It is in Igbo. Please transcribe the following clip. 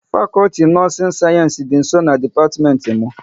Fakọlti nọọsin sayensị dị nsọ na dipatiment m